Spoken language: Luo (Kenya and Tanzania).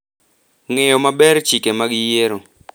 ng’eyo maber chike mag yiero